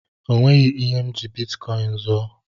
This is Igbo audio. O nweghị ihe m ji bitkọin zuo.